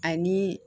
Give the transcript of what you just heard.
Ani